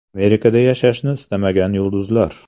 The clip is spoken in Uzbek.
Amerikada yashashni istamagan yulduzlar.